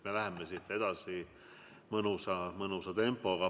Me läheme siit edasi mõnusa tempoga.